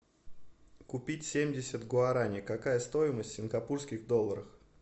купить семьдесят гуараней какая стоимость в сингапурских долларах